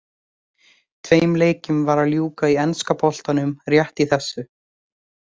Tveim leikjum var að ljúka í enska boltanum rétt í þessu.